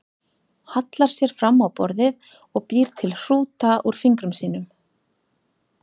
Hallar sér fram á borðið og býr til hrúta úr fingrum sínum.